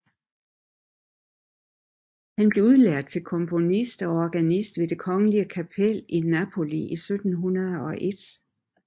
Han blev udnævnt til komponist og organist ved det kongelige kapel i Napoli i 1701